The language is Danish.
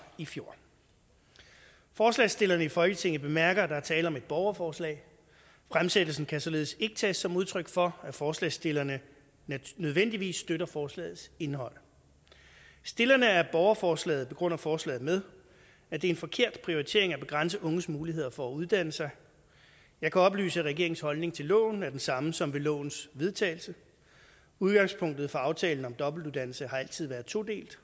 i fjor forslagsstillerne i folketinget bemærker at der er tale om et borgerforslag fremsættelsen kan således ikke tages som udtryk for at forslagsstillerne nødvendigvis støtter forslagets indhold stillerne af borgerforslaget begrunder forslaget med at det er en forkert prioritering at begrænse unges muligheder for at uddanne sig jeg kan oplyse at regeringens holdning til loven er den samme som ved lovens vedtagelse udgangspunktet for aftalen om dobbeltuddannelse har altid været todelt